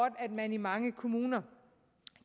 at man i mange kommuner